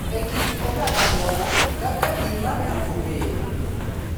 E kit oganda moko, kaka din mar Jokopere,